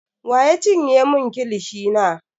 Wa ya cinye mun kilishi na?